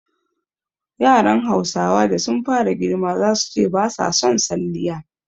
Yaran Hausawa da sun fara girma zasu ce ba sa son salliya